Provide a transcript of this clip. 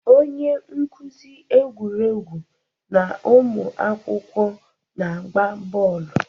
Onye nkuzi egwuregwu na ụmụ akwụkwọ na-agba bọọlụ.